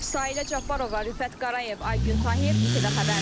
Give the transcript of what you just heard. Sayilə Cabbarova, Rüfət Qarayev, Aygun Tahir, ITV Xəbər.